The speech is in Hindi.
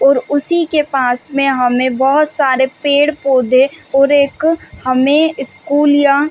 ओर उसी के पास में हमें बोहोत सारे पेड़ -पौधे ओर एक हमें स्कूल या --